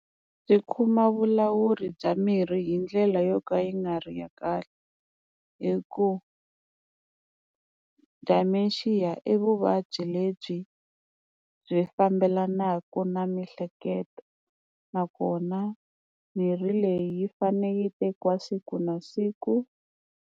Byi khumba vulawuri bya mirhi hi ndlela yo ka yi nga ri ya kahle, hi ku dementia i vuvabyi lebyi byi fambelanaka na mihleketo nakona mirhi leyi yi fane yi tekiwa siku na siku.